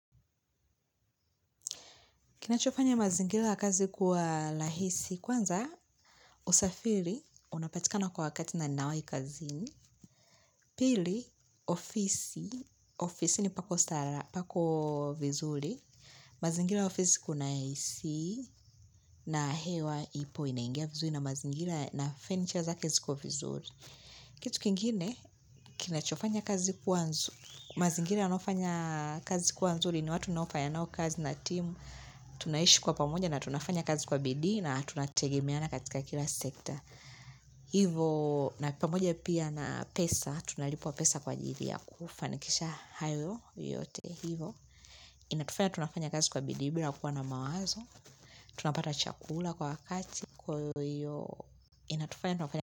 Kinachofanya mazingira kazi kwa rahisi, kwanza, usafiri, unapatika na kwa wakati na nawai kazini, pili, ofisi, ofisini pako sala pako vizuri, mazingira ya ofisi kuna isi, na hewa ipo inaingia vizuri na mazingira na furniture zake ziko vizuri. Kitu kingine kinachofanya kazi kuwa nzu. Mazingiri yanofanya kazi kuwa nzuri ni watu unofanya nao kazi na team. Tunaishi kwa pamoja na tunafanya kazi kwa bidii na tunategemeana katika kila sekta. Hivo na pamoja pia na pesa tunalipwa pesa kwa ajili ya kufanikisha hayo yote. Hivo inatufanya tunafanya kazi kwa bidii bila kuwa na mawazo. Tunapata chakula kwa wakati. Kwa iyo inatufanya tunafanya.